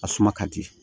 A suma ka di